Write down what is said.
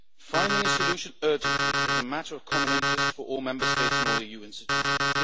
Finding a solution urgently is a matter of common interest for all Member States and all EU institutions.